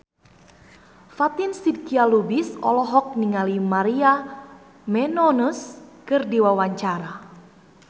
Fatin Shidqia Lubis olohok ningali Maria Menounos keur diwawancara